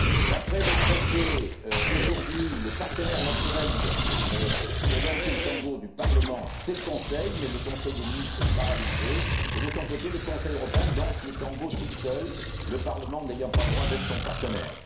D'après le traité, aujourd'hui, le partenaire naturel du Parlement pour danser le tango, c'est le Conseil, mais le conseil des ministres est paralysé et, de son côté, le Conseil européen danse le tango tout seul, le Parlement n'ayant pas le droit d'être son partenaire.